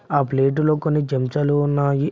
ఆ ప్లేటులో కొన్ని చెంచాలు ఉన్నాయి.